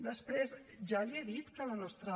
després ja li he dit que la nostra